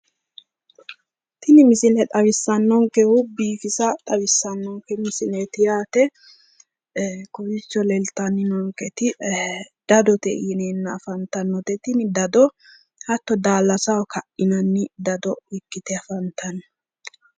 Tini misile xawissannonkehu biifisa xawissannonke misileeti yaate kowiicho leeltanninnonketi dadote yineenna afantannote tini dado hatto daallasaho kadhinanni dado ikkite afantanno.